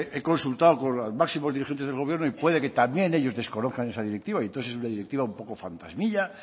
he consultado con los máximos dirigentes del gobierno y puede que también ellos desconozcan esa directiva y entonces es una directiva un poco fantasmilla